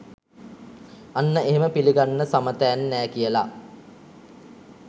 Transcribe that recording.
අන්න එහෙම පිලිගන්න සමතෑන් නෑ කියල